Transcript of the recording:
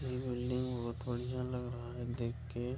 ये बिल्डिंग बहोत बढ़िया लग रहा है देख के।